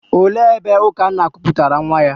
Olee ebe Ukanna kuputara nwa ya?